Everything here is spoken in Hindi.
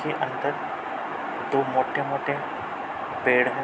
के अंदर दो मोटे-मोटे पेड़ हैं।